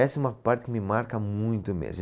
Essa é uma parte que me marca muito mesmo.